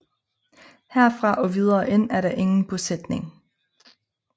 Herfra og videre ind er der ingen bosætning